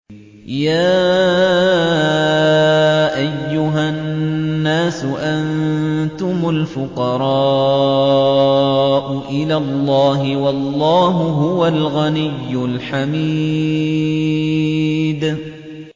۞ يَا أَيُّهَا النَّاسُ أَنتُمُ الْفُقَرَاءُ إِلَى اللَّهِ ۖ وَاللَّهُ هُوَ الْغَنِيُّ الْحَمِيدُ